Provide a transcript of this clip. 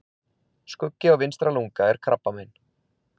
Skuggi á vinstra lunga er krabbamein.